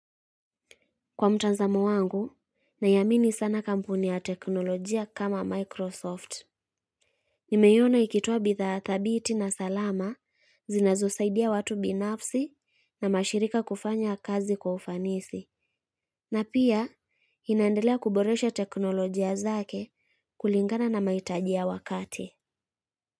Kwa mtanzamo wangu, naiamini sana kampuni ya teknolojia kama Microsoft. Nimeiona ikitoa bidha thabiti na salama zinazosaidia watu binafsi na mashirika kufanya kazi kwa ufanisi. Na pia, inaendelea kuboresha teknolojia zake kulingana na mahitaji ya wakati.